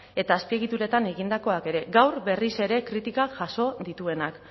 eta azpiegituretan egindakoak ere gaur berriz ere kritika jaso dituenak